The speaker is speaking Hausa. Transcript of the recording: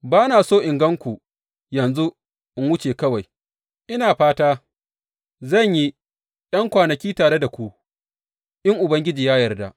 Ba na so in gan ku yanzu in wuce kawai, ina fata zan yi ’yan kwanaki tare da ku, in Ubangiji ya yarda.